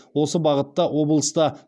осы бағытта облыста